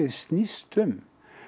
snýst um